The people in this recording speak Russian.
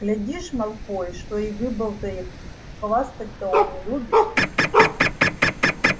глядишь малфой что и выболтает хвастать-то он любит